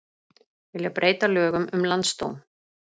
Vilja breyta lögum um landsdóm